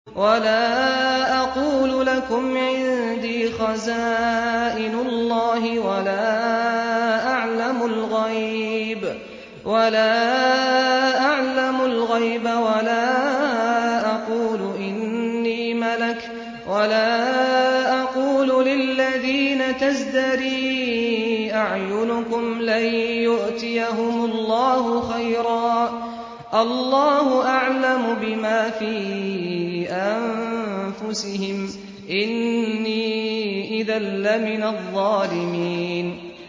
وَلَا أَقُولُ لَكُمْ عِندِي خَزَائِنُ اللَّهِ وَلَا أَعْلَمُ الْغَيْبَ وَلَا أَقُولُ إِنِّي مَلَكٌ وَلَا أَقُولُ لِلَّذِينَ تَزْدَرِي أَعْيُنُكُمْ لَن يُؤْتِيَهُمُ اللَّهُ خَيْرًا ۖ اللَّهُ أَعْلَمُ بِمَا فِي أَنفُسِهِمْ ۖ إِنِّي إِذًا لَّمِنَ الظَّالِمِينَ